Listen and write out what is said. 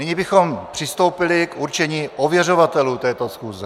Nyní bychom přistoupili k určení ověřovatelů této schůze.